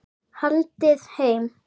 Haldið heim